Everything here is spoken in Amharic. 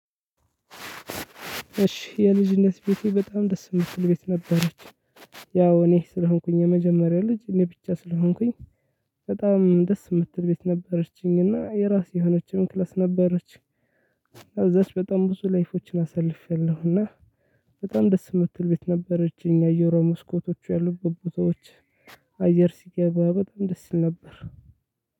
እሺ የልጅነት ቤቴ በጣም ደስ ምትል ቤት ነበረች። ያው እኔ ስለሆንኩኝ የመጀመሪያ ልጅ እኔ ብቻ ስለሆንኩኝ። በጣም ደስ ምትል ቤት ነበረችኝ እና የራሴ የሆነችም ክላስ ነበረች። እና እዛች በጣም ብዙ ላይፎችን አሳልፌያለሁ እና። በጣም ደስ የምትል ቤት ነበረች አየር መስኮቶች ያሉበት ቦታዎች። አየር ሲገባ በጣም ደስ ይል ነበር።